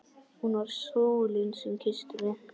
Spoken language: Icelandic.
Hún var sólin sem kyssti mig.